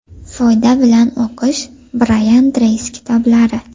Foyda bilan o‘qish: Brayan Treysi kitoblari.